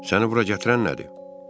Səni bura gətirən nədir?